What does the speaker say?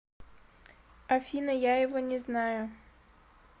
афина я его не знаю